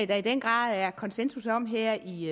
der i den grad er konsensus om her i